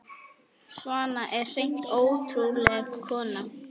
Svana var hreint ótrúleg kona.